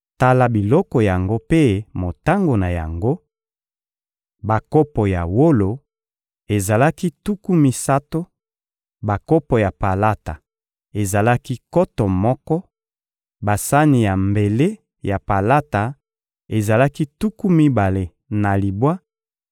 Tala biloko yango mpe motango na yango: bakopo ya wolo ezalaki tuku misato; bakopo ya palata ezalaki nkoto moko; basani ya mbele ya palata ezalaki tuku mibale na libwa;